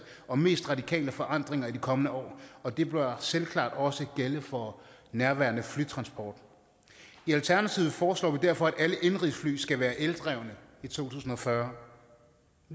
og mest radikale forandringer i de kommende år og det bør selvklart også gælde for nærværende flytransport i alternativet foreslår vi derfor at alle indenrigsfly skal være eldrevne i to tusind og fyrre